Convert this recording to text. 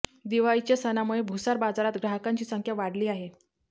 दिवाळीच्या सणामुळे भुसार बाजारात ग्राहकांची संख्या वाढली आहे